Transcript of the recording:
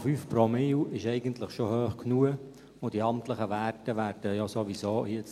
1,5 Promille ist eigentlich schon hoch genug, und die amtlichen Werte werden dann sowieso erhöht.